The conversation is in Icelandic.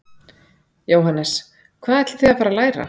Jóhannes: Hvað ætlið þið að fara að læra?